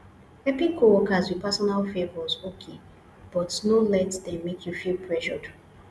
helping coworkers with personal favors okay but no let them make you feel pressured